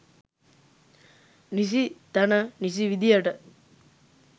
නිසි තැන නිසි විදියට